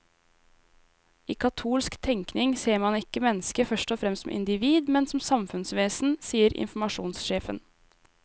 I katolsk tenkning ser man ikke mennesket først og fremst som individ, men som samfunnsvesen, sier informasjonssjefen.